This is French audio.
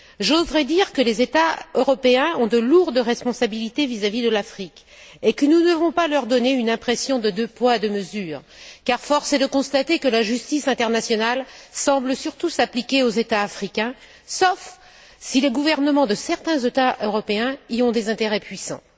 J'oserais dire que les États européens ont de lourdes responsabilités vis à vis de l'Afrique et que nous ne devons pas leur donner une impression de deux poids et deux mesures, car force est de constater que la justice internationale semble surtout s'appliquer aux États africains, sauf si les gouvernements de certains États européens y ont des intérêts puissants.